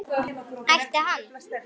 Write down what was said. Ætti hann?